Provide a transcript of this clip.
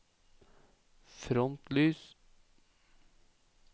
frontlys